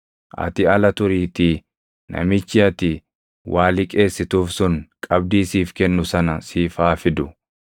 Ati ala turiitii namichi ati waa liqeessituuf sun qabdii siif kennu sana siif haa fidu.